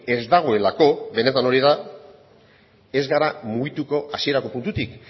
ez dagoelako benetan hori da ez gara mugituko hasierako puntutik